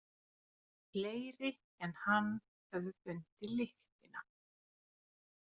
Fleiri en hann höfðu fundið lyktina.